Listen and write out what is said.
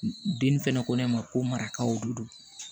Den fɛnɛ ko ne ma ko marakaw de don